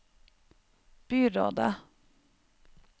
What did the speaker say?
byrådet